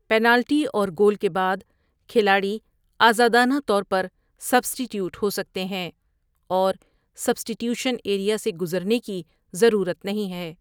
Penalty اور goal کے بعد، کھلاڑی آزادانہ طور پر سبٹی ٹیوٹ ہو سکتے ہیں اور سبٹی ٹیوٹشن ایریا سے گزرنے کی ضرورت نہیں ہے۔